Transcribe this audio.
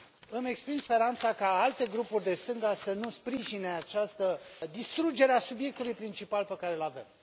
Îmi exprim speranța ca alte grupuri de stânga să nu sprijine această distrugere a subiectului principal pe care îl avem.